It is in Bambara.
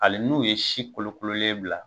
Ali n'u ye si kolokololen bila.